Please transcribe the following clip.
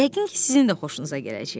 Yəqin ki sizin də xoşunuza gələcək.